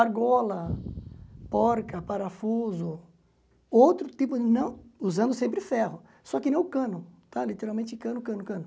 Argola, porca, parafuso, outro tipo, não usando sempre ferro, só que não o cano, tá literalmente cano, cano, cano.